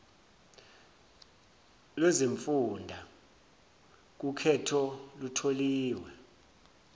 lwezimfunda kukhetho lutholiwe